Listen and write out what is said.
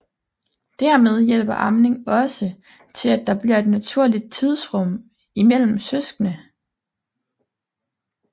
Dermed hjælper amning også til at der bliver et naturligt tidsrum imellem søskende